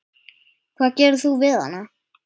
Hvað gerir þú við hana?